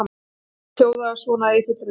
Fyrirspurnin hljóðaði svona í fullri lengd: